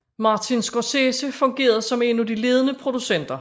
Martin Scorsese fungerede som en af de ledende producenter